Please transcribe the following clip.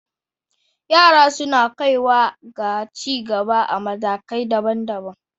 Yara suna kaiwa ga ci gaba a matakai daban-daban.